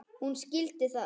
Hún skildi það.